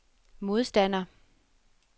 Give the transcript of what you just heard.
modstander